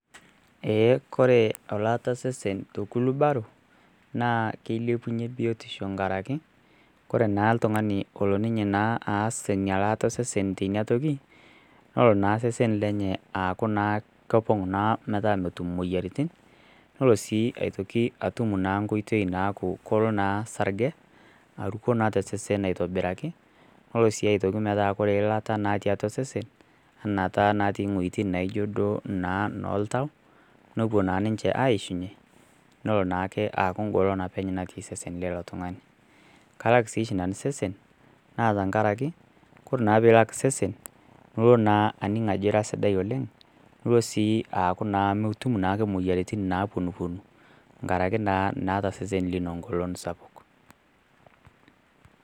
Eeh kore olaata osesen to kulubaro naa kilepunyie biotisho nkaraki lore naa iltung'ani olo ninye naa aas enia laata esesen teinia toki nolo naa sesen lenye naa aaku naa kopong naa metaa motum imoyiaritin nolo sii aieteki atum naa nkoitei naaku kolo naa sarge aruko naa tesesen aitobiraki nolo sii aitoki metaa kore ilata natii atua osesen anaa taa inatii ing'ueitin naijo duo naa noltau nopuo naa ninche aishunye nolo naake aaku ingolon apeny natii sesen leilo tung'ani kalak sieshi nanu sesen naa tankaraki kore naa peilak sesen nulo naa aning ajo ira sidai oleng nulo sii aaku naa mutum naake imoyiaritin naponuponu nkaraki naa naata sesen lino ngolon sapuk.